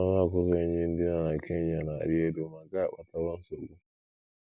Ọnụ ọgụgụ enyí ndị nọ na Kenya na - arị elu, ma nke a akpatawo nsogbu.